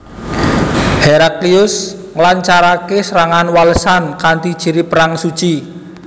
Heraklius nglancaraké serangan walesan kanthi ciri perang suci